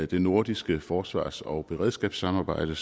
det nordiske forsvars og beredskabssamarbejde